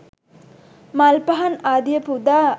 මල් පහන් ආදිය පුදා